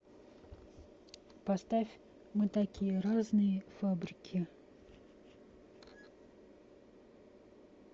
поставь мы такие разные фабрики